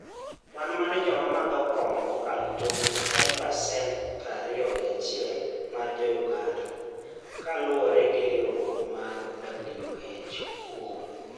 Kwan mar joma madho kong'o mokalo tong ' en pasent prariyo gi achiel mar Jo - Uganda, ka luwore gi riwruok mar WHO.